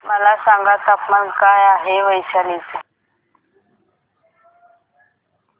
मला सांगा तापमान काय आहे वैशाली चे